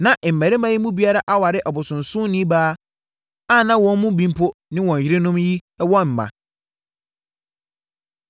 Na mmarima yi mu biara aware ɔbosonsomni baa a na wɔn mu bi mpo ne wɔn yerenom yi wɔ mma.